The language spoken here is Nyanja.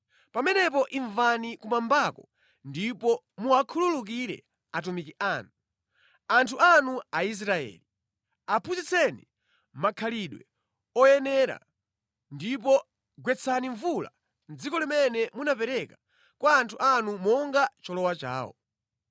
pamenepo imvani kumwambako ndipo muwakhululukire atumiki anu, anthu anu Aisraeli. Aphunzitseni makhalidwe oyenera ndipo gwetsani mvula mʼdziko limene munapereka kwa anthu anu monga cholowa chawo.